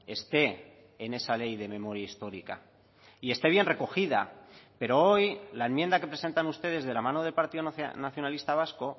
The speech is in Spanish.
esté en esa ley de memoria histórica y esté bien recogida pero hoy la enmienda que presentan ustedes de la mano del partido nacionalista vasco